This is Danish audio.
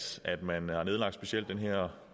citere